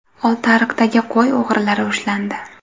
Oltiariqdagi qo‘y o‘g‘rilari ushlandi.